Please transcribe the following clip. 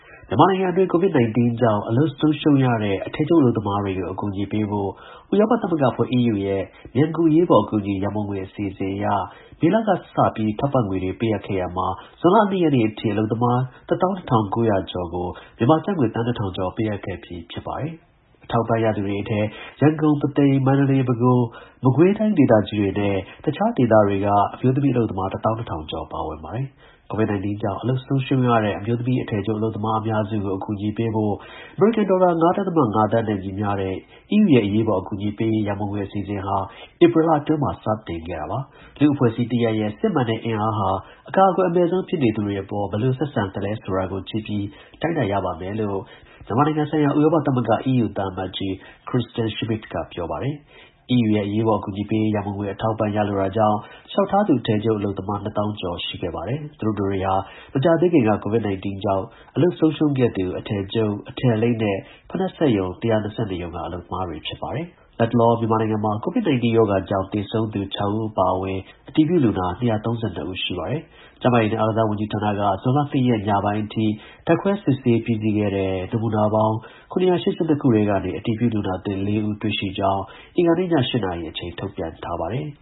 မြန်မာနိုင်ငံအတွင်း COVID 19 ကြောင့် အလုပ်ဆုံးရှုံးရတဲ့ အထည်ချုပ် အလုပ်သမားတွကို အကူအညီပေးဖို့ ဥရောပ သမဂ္ဂအဖွဲ့ EU ရဲ့ မြန်ကူ အရေး ပေါ် အကူအညီ ရန်ပုံငွေ အစီအစဉ်အရ မေလကစပြီး ထောက်ပံ့ငွေတွေ ပေးအပ်ခဲ့ရာမှာ ဇွန်လ ၂ ရက်နေ့အထိ အလုပ်သမား ၁၂၉၀၀ ကျော်ကို မြန်မာ ကျပ်ငွေ သန်း ၁၀၀၀ ကျော် ပေးအပ်ခဲ့ပြီ ဖြစ်ပါတယ်။ အထောက်အပံ့ရသူတွေ အထဲ ရန်ကုန်၊ ပုသိမ်၊ မန္တလေး၊ ပဲခူး၊ မကွေး ဒေသကြီးတွေနဲ့ တစ်ခြား ဒေသတွေ အမျိုးသမီး အလုပ်သမား ၁၁၀၀၀ ကျော်ပါဝင် ပါတယ်။ COVID 19 ကြောင့် အလုပ်ဆုံးရှုံးရတဲ့ အမျိုးသမီး အထည်ချုပ် အလုပ်သမား အများစုကို အကူအညီပေးဖို့ အမေရိကန် ဒေါ်လာ ၅.၅ သန်း နဲ့ ညီမျှတဲ့ EU ရဲ့ အရေးပေါ် အကူအညီပေးရေး ရန်ပုံငွေ အစီအစဉ်ဟာ ဧပြီလအတွင်းမှာ စတင်ခဲ့တာပါ။ “လူမှု အဖွဲ့ အစည်းတစ်ရပ်ရဲ့ စစ်မှန်တဲ့ အင်အားဟာ အကာအကွယ် အမဲ့ဆုံးဖြစ်နေသူတွေအပေါ် ဘယ်လို ဆက်ဆံသလဲဆိုတာကို ကြည့်ပြီး တိုင်းတာရပါမယ်” လို့ မြန်မာနိုင်ငံ ဆိုင်ရာ ဥရောပ သမဂ္ဂ EU သံအမတ်ကြီး Kristian Schmidt က ပြောပါတယ်။ EU ရဲ့ အရေးပေါ် အကူအညီပေးရေး ရန်ပုံငွေ အထောက်အပံ့ ရလိုတာကြောင့် လျှောက်ထားသူ အထည်ချုပ် အလုပ်သမား ၂၀၀၀၀ ကျော် ရှိခဲ့ပါတယ်။ သူတို့တတွေဟာ မကြာသေးခင်က COVID-19 ကြောင့် အလုပ်ဆုံးရှုံးခဲ့သူ အထည်ချုပ်၊ အထည်အလိပ်နဲ့ ဖိနပ်စက်ရုံ ၁၂၂ ရုံက အလုပ်သမားတွေ ဖြစ်ပါတယ်။ လတ်တလော မြန်မာနိုင်ငံမှာ COVID-19 ရောဂါကြောင့် သေဆုံးသူ ၆ ဦးအပါအဝင် အတည်ပြုလူနာ ၂၃၂ ဦး ရှိပါတယ်။ ကျန်းမာရေးနဲ့ အားကစားဝန်ကြီးဌာနက ဇွန်လ ၂ ရက်နေ့ ညပိုင်းအထိ ဓာတ်ခွဲ စစ်ဆေးပြီးစီးခဲ့တဲ့ နမူနာပေါင်း ၇၈၂ ခုထဲကနေ အတည်ပြုလူနာသစ် ၄ ဦး တွေ့ရှိကြောင်းအင်္ဂါနေ့ည ၈ နာရီ အချိန် ထုတ်ပြန်ထားပါတယ်။